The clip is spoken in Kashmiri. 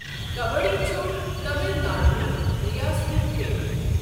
کَبَڑّی چھُ تمِل ناڈوٗ ہُک رِیاستی کھیل۔